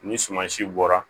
Ni suman si bɔra